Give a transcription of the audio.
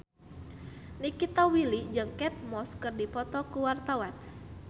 Nikita Willy jeung Kate Moss keur dipoto ku wartawan